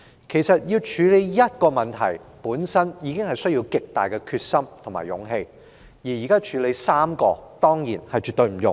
事實上，要處理一個問題，本身已需極大的決心和勇氣，如今要處理3個問題，當然絕不容易。